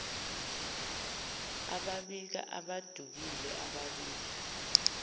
ababika abadukile ababika